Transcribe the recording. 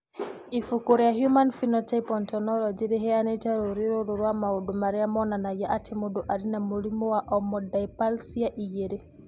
Ibuku rĩa Human Phenotype Ontology rĩheanĩte rũũri rũrũ rwa maũndũ marĩa monanagia atĩ mũndũ arĩ na mũrimũ wa Omodysplasia 2.